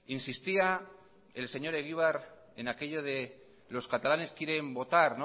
insistía el señor egibar en aquello de los catalanes quieren votar